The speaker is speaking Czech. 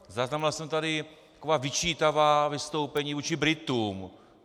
Zaznamenal jsem tady taková vyčítavá vystoupení vůči Britům.